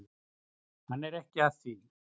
Hann er ekki að því.